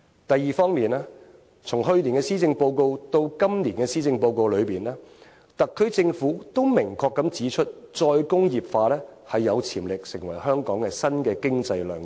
第二方面，從去年的施政報告到今年的施政報告，特區政府都明確指出再工業化有潛力成為香港新的經濟亮點。